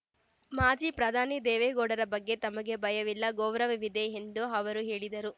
ಮಾಜಿ ಪ್ರಧಾನಿ ದೇವೇಗೌಡರ ಬಗ್ಗೆ ತಮಗೆ ಭಯವಿಲ್ಲ ಗೌರವವಿದೆ ಎಂದು ಅವರು ಹೇಳಿದರು